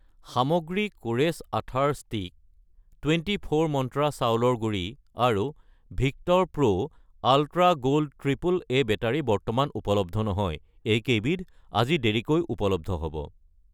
সামগ্ৰী কোৰেছ আঠাৰ ষ্টিক , টুৱেণ্টি ফ'ৰ মন্ত্ৰা চাউলৰ গুড়ি আৰু Victor pro ultra gold triple A battery বৰ্তমান উপলব্ধ নহয়, এইকেইবিধ আজি দেৰিকৈ উপলব্ধ হ'ব।